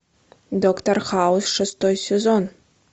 доктор хаус шестой сезон